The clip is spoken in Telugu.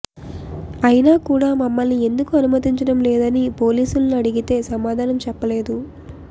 అయినా కూడా మమ్మల్ని ఎందుకు అనుమతించడంలేదని పోలీసుల్ని అడిగితే సమాధానం చెప్పలేదు